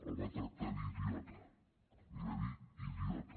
el va tractar d’idiota li va dir idiota